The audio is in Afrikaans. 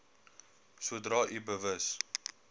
sodra u bewus